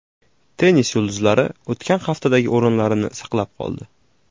Tennis yulduzlari o‘tgan haftadagi o‘rinlarini saqlab qoldi.